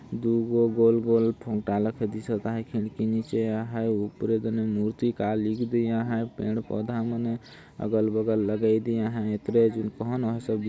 दु गो गोल गोल भोंगटा लेखे दिसत आहाय खिड़की निचे आहाय उपरे मुर्ति का लिख दे आहाय पेड़ पौधा मने अगल बगल लगाय दे आहाय |